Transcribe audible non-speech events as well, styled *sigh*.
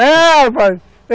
*laughs* É, rapaz!